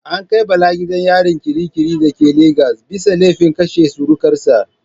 An kai Bala gidan yari kirikiri da ke Lagos bisa laifin kashe surukar sa.